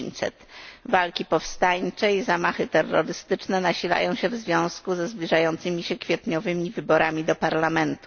900. Walki powstańcze i zamachy terrorystyczne nasilają się w związku ze zbliżającymi się kwietniowymi wyborami do parlamentu.